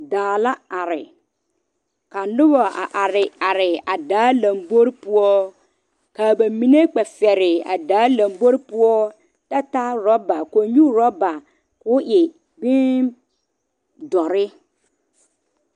Daa la are ka noba are are a daa lanbore poɔ kaa ba mine kpɛ te fegre a daa lanbore poɔ kyɛ taa oroba kõɔ oroba ko'o e biŋ doɔre.